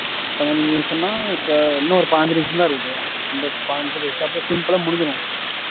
பதினஞ்சு நிமிஷம்தான் இப்ப இன்னும் ஒரு பதினஞ்சு நிமிஷம்தான் இருக்குது இந்த பாஞ்சு நிமிஷம் பேசு இந்த simple ஆ முடிஞ்சிரும்